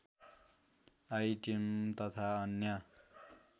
iTune तथा अन्य